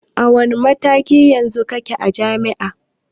A wanne mataki yanzu kike a jami'a?